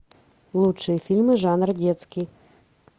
лучшие фильмы жанра детский